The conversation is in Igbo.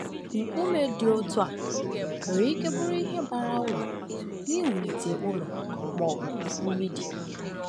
Nkume dị otu a nwere ike bụrụ ihe bara uru n’iwulite ụlọ ma ọ bụ mgbidi.